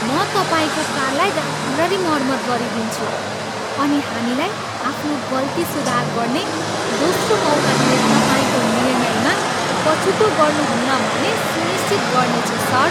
म तपाईँको कारलाई राम्ररी मर्मत गरिदिन्छु अनि हामीलाई आफ्नो गल्ती सुधार गर्ने दोस्रो मौका दिने तपाईँको निर्णयमा पछुतो गर्नुहुन्न भन्ने सुनिश्चित गर्नेछु सर!